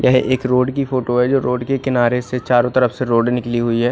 यह एक रोड की फोटो है जो रोड़ किनारे से चारो तरफ से रोड़ निकली हुई है।